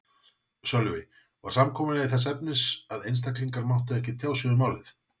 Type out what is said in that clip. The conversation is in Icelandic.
Sölvi: Var samkomulagið þess efnis að einstaklingar máttu ekki tjá sig um málið?